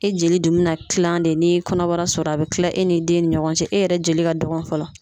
E jeli dun bi na kilan de n'i ye kɔnɔbara sɔrɔ a be kila e n'i den ni ɲɔgɔn cɛ e yɛrɛ jeli ka dɔgɔ fɔlɔ